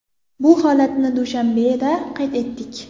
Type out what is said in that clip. Bu holatni Dushanbeda qayd etdik.